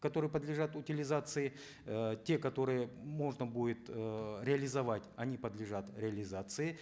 которые подлежат утилизации э те которые можно будет эээ реализовать они подлежат реализации